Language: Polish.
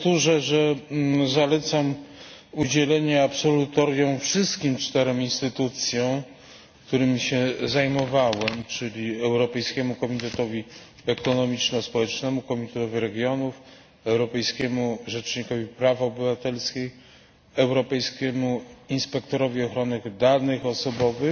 Powtórzę, że zalecam udzielenie absolutorium wszystkim czterem instytucjom, którymi się zajmowałem, czyli Europejskiemu Komitetowi Ekonomiczno Społecznemu, Komitetowi Regionów, Europejskiemu Rzecznikowi Praw Obywatelskich, Europejskiemu Inspektorowi Ochrony Danych Osobowych,